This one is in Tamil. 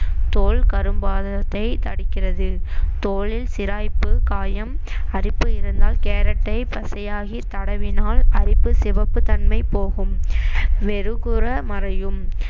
தோல் கரும்பாதனத்தை தடுக்கிறது தோலில் சிராய்ப்பு காயம் அரிப்பு இருந்தால் கேரட்டை பசையாகி தடவினால் அரிப்பு சிவப்புத் தன்மை போகும் மெருகுற மறையும்